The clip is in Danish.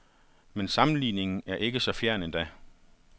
Men sammenligningen er ikke så fjern endda.